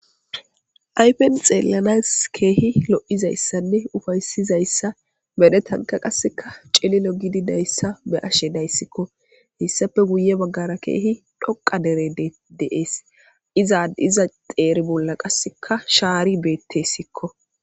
Ayifenni xeellanasi kehi lo'izayissanne uffayissizsyissa medhdhetannikka qase cililo gididayissa betishshe de'ees.